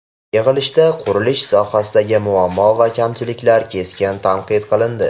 Yig‘ilishda qurilish sohasidagi muammo va kamchiliklar keskin tanqid qilindi.